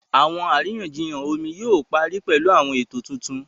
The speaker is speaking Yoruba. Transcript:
Àwọn àríyànjiyàn omi yóò parí pẹ̀lú àwọn ètò tuntun